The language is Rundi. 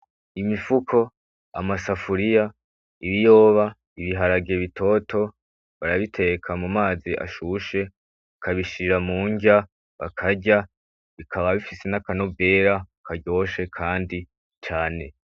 Imifuko, amasafuriya ,ibiyoba ,ibiharage bitoto barabiteka mumazi ashushe bakabishira murya bakarya bikaba bifise nakanovera karyoshe kandi cane.